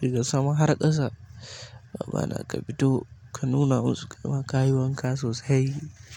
daga sama har ƙasa. Ma'ana ka fito ka nuna musu kayi wanka sosai.